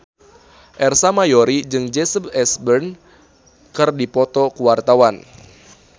Ersa Mayori jeung Jesse Eisenberg keur dipoto ku wartawan